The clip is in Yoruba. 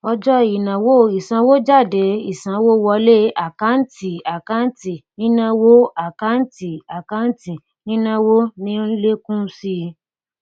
ọjọ ìnáwó ìsanwójádé ìsanwówọlé àkántìàkántì nínáwó àkántìàkántì nínáwó ní ń lékún síi